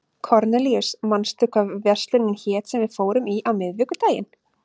Kornelíus, manstu hvað verslunin hét sem við fórum í á miðvikudaginn?